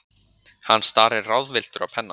Hann starir ráðvilltur á pennann.